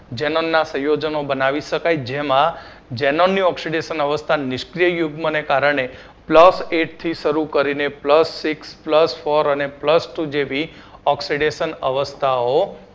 xenon ના સંયોજનો બનાવી શકાય જેમાં xenon ની oxidation અવસ્થા નિષ્ક્રિય યુગ્મને કારણે plus eight થી શરુ કરીને plus six plus four અને plus two જેવી oxidation અવસ્થાઓ